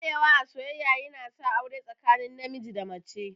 Daɗewa a soyyayya yana sa aure tsakanin namiji da mace.